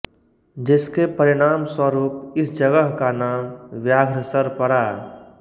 जिसके परिणाम स्वरुप इस जगह का नाम व्याघ्रसर पड़ा